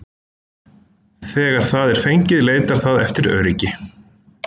Þegar það er fengið leitar það eftir öryggi.